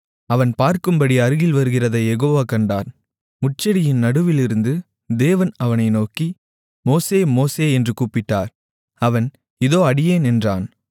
அவன் பார்க்கும்படி அருகில் வருகிறதைக் யெகோவா கண்டார் முட்செடியின் நடுவிலிருந்து தேவன் அவனை நோக்கி மோசே மோசே என்று கூப்பிட்டார் அவன் இதோ அடியேன் என்றான்